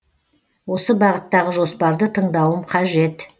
осы бағыттағы жоспарды тыңдауым қажет